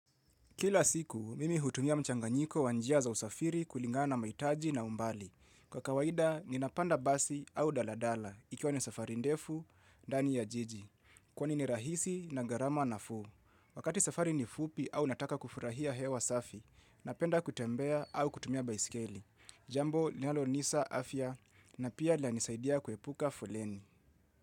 Kila siku, mimi hutumia mchanganyiko wa njia za usafiri kulingana mahitaji na umbali. Kwa kawaida, ninapanda basi au daladala, ikiwa ni safari ndefu, ndani ya jiji. Kwani ni rahisi na gharama nafuu. Wakati safari ni fupi au nataka kufurahia hewa safi, napenda kutembea au kutumia baiskeli. Jambo, linalonisa afya, na pia linanisaidia kuepuka fuleni.